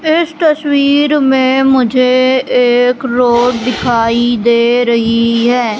इस तस्वीर में मुझे एक रोड दिखाई दे रहीं हैं।